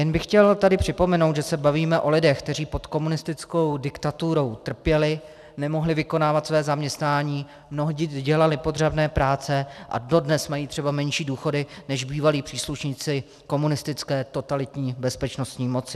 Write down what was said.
Jen bych chtěl tady připomenout, že se bavíme o lidech, kteří pod komunistickou diktaturou trpěli, nemohli vykonávat své zaměstnání, mnohdy dělali podřadné práce a dodnes mají třeba menší důchody než bývalí příslušníci komunistické totalitní bezpečnostní moci.